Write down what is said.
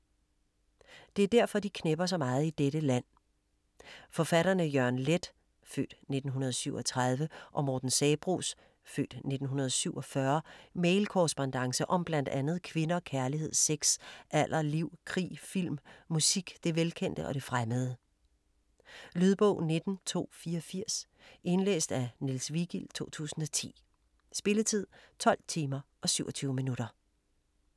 Det er derfor de knepper så meget i dette land - Forfatterne Jørgen Leth (f. 1937) og Morten Sabroes (f. 1947) mailkorrespondance om bl.a. kvinder, kærlighed, sex, alder, liv, krig, film, musik, det velkendte og det fremmede. Lydbog 19284 Indlæst af Niels Vigild, 2010. Spilletid: 12 timer, 27 minutter.